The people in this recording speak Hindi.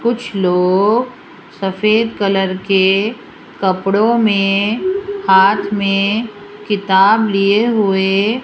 कुछ लोग सफेद कलर के कपड़ों में हाथ में किताब लिए हुए --